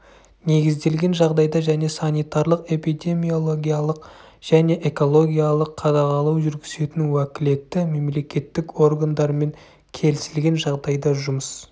негізделген жағдайда және санитарлық-эпидемиологиялық және экологиялық қадағалау жүргізетін уәкілетті мемлекеттік органдармен келісілген жағдайда жұмыс